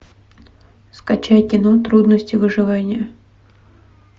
скачай кино трудности выживания